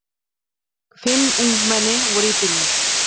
Fimm ungmenni voru í bílnum.